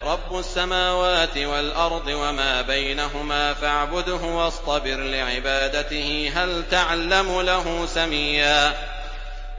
رَّبُّ السَّمَاوَاتِ وَالْأَرْضِ وَمَا بَيْنَهُمَا فَاعْبُدْهُ وَاصْطَبِرْ لِعِبَادَتِهِ ۚ هَلْ تَعْلَمُ لَهُ سَمِيًّا